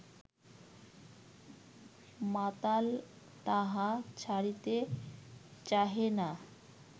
মাতাল তাহা ছাড়িতে চাহে না